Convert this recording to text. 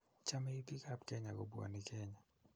Chomei biikab kenya kobwonii Kenya.